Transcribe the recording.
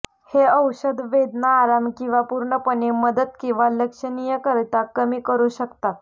हे औषध वेदना आराम किंवा पूर्णपणे मदत किंवा लक्षणीयरित्या कमी करू शकता